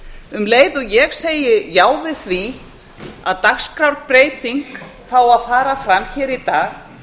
um leið og ég segi já við því að dagskrárbreyting fái að fara fram hér í dag